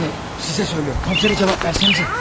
Delikanlı, sizə deyir, komissara cavab versənizə!